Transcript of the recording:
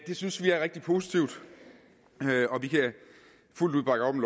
det synes vi er rigtig positivt og vi kan fuldt ud bakke op